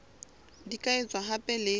di ka etswa hape le